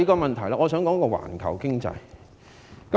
另外，我想談談環球經濟。